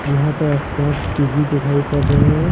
यहां पर smart TV दिखाई पर रहें हैं।